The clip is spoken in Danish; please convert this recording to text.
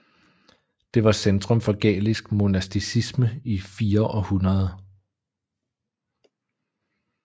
Det var centrum for gælisk monasticisme i fire århundrede